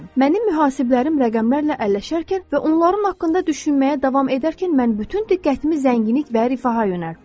Mənim mühasiblərim rəqəmlərlə əlləşərkən və onların haqqında düşünməyə davam edərkən mən bütün diqqətimi zənginlik və rifaha yönəltdim.